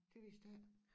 Det vidste jeg ikke